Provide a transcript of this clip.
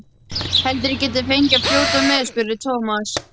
Heldurðu að ég gæti fengið að fljóta með? spurði Thomas.